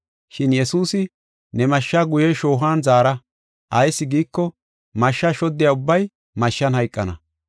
Shin Yesuusi, “Ne mashsha guye shoohuwan zaara. Ayis giiko, mashsha shoddiya ubbay mashshan hayqana.